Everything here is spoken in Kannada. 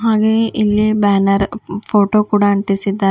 ಹಾಗೆ ಇಲ್ಲಿ ಬ್ಯಾನರ್ ಫೋಟೋ ಕೂಡ ಆಂಟಿಸಿದ್ದಾ--